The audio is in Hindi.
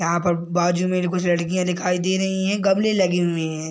यहां पर बाजू में भी कुछ लड़कियां दिखाई दे रही है गमले लगे हुए है।